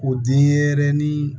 O denyɛrɛnin